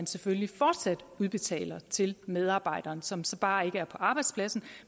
selvfølgelig fortsat udbetales til medarbejderen som så bare ikke er på arbejdspladsen